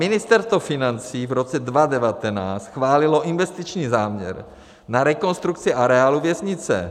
Ministerstvo financí v roce 2019 schválilo investiční záměr na rekonstrukci areálu věznice.